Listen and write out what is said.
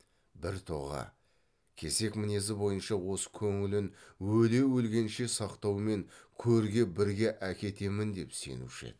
бір тоға кесек мінезі бойынша осы көңілін өле өлгенше сақтаумен көрге бірге әкетемін деп сенуші еді